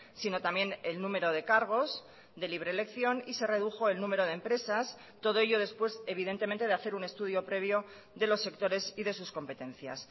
sino también el número de cargos de libre elección y se redujo el número de empresas todo ello después evidentemente de hacer un estudio previo de los sectores y de sus competencias